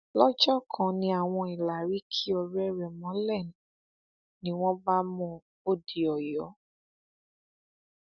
lọjọ kan ni àwọn ìlàrí ki ọrẹ rẹ mọlẹ ni wọn bá mú un ó di ọyọ